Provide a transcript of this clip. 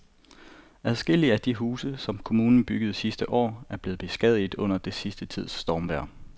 Adskillige af de huse, som kommunen byggede sidste år, er blevet beskadiget under den sidste tids stormvejr.